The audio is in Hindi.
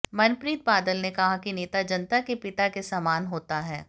मनप्रीत बादल ने कहा कि नेता जनता के पिता के समान होता है